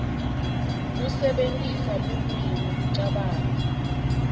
kusebentisa lulwimi kucabanga